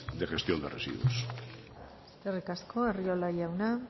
de gestión de residuos eskerrik asko arriola jauna